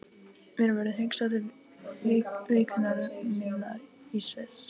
Mér verður hugsað til vikunnar minnar í Sviss.